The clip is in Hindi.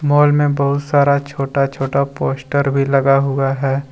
मॉल में बहुत सारा छोटा छोटा पोस्टर भी लगा हुआ है।